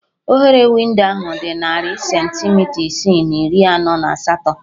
Oghere windo ahụ dị narị centimita isii na iri anọ na asatọ